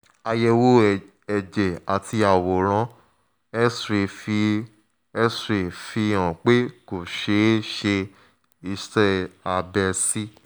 àyẹ̀wò ẹ̀jẹ̀ àti àwòrán x-ray fi x-ray fi hàn pé kò ṣe é ṣe iṣẹ́ abẹ sí